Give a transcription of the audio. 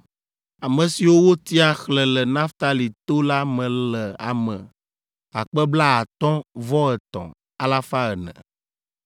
Ame siwo wotia, xlẽ le Naftali to la me le ame akpe blaatɔ̃-vɔ-etɔ̃ alafa ene (53,400).